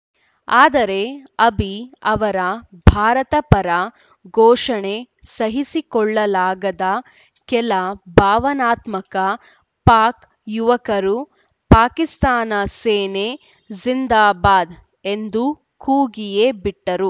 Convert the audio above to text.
ಆದರೆ ಅಭಿ ಅವರ ಭಾರತ ಪರ ಘೋಷಣೆ ಸಹಿಸಿಕೊಳ್ಳಲಾಗದ ಕೆಲ ಭಾವನಾತ್ಮಕ ಪಾಕ್‌ ಯುವಕರು ಪಾಕಿಸ್ತಾನ ಸೇನೆ ಜಿಂದಾಬಾದ್‌ ಎಂದು ಕೂಗಿಯೇ ಬಿಟ್ಟರು